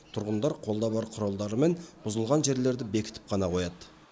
тұрғындар қолда бар құралдарымен бұзылған жерлерді бекітіп қана қояды